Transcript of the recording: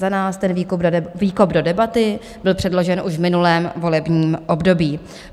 Za nás ten výkop do debaty byl předložen už v minulém volebním období.